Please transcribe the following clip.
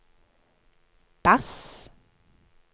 bass